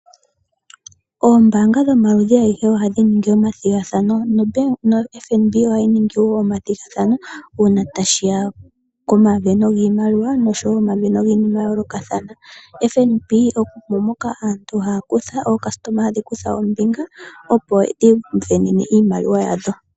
Ombaanga dho maludhi agehe ohadhi ningi omathigakano no FNB ohayi ningi omathigathano uuna tashiya komaveno giimaliwa noshowo omaveno giinima ya yoolokathana FNB omo moka aantu haya kutha, ookasitoma hadhi kutha ombinga opo dhi ivenene iimaliwa yadho.